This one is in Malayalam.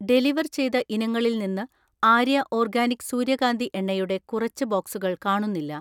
ഡെലിവർ ചെയ്ത ഇനങ്ങളിൽ നിന്ന് ആര്യ ഓർഗാനിക് സൂര്യകാന്തി എണ്ണ യുടെ കുറച്ച് ബോക്സുകൾ കാണുന്നില്ല.